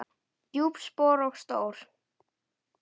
Djúp spor og stór.